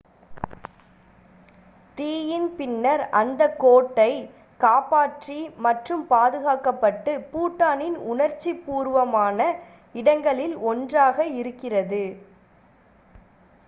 தீயின் பின்னர் அந்த கோட்டை காப்பாற்றி மற்றும் பாதுகாக்கப்பட்டு பூட்டானின் உணர்ச்சி பூர்வமான இடங்களில் ஒன்றாக one இருக்கிறது